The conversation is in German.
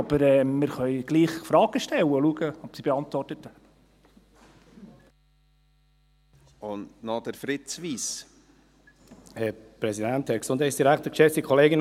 aber wir können trotzdem Fragen stellen und schauen, ob sie beantwortet werden.